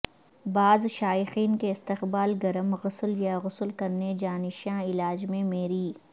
بعض شائقین کے استقبال گرم غسل یا غسل کرنے جا نشہ علاج میں میری